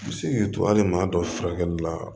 U bɛ se k'i to hali maa dɔ furakɛli la